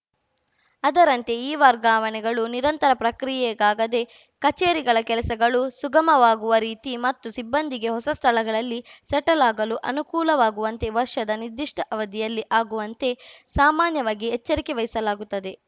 ಅದರಂತೆಯೇ ಈ ವರ್ಗಾವಣೆಗಳು ನಿರಂತರ ಪ್ರಕ್ರಿಯೆಯಾಗದೆ ಕಚೇರಿಗಳ ಕೆಲಸಗಳು ಸುಗಮವಾಗುವ ರೀತಿ ಮತ್ತು ಸಿಬ್ಬಂದಿಗೆ ಹೊಸ ಸ್ಥಳಗಳಲ್ಲಿ ಸೆಟಲ್‌ ಅಗಲು ಅನುಕೂಲವಾಗುವಂತೆ ವರ್ಷದ ನಿರ್ದಿಷ್ಟಅವಧಿಯಲ್ಲಿ ಅಗುವಂತೆ ಸಾಮಾನ್ಯವಾಗಿ ಎಚ್ಚರಿಕೆ ವಹಿಸಲಾಗುತ್ತದೆ